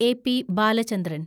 A. P. Balachandran